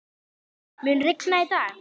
Milda, mun rigna í dag?